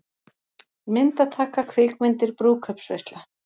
MYNDATAKA, KVIKMYNDIR, BRÚÐKAUPSVEISLA